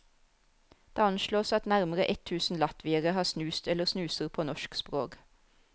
Det anslås at nærmere ett tusen latviere har snust eller snuser på norsk språk.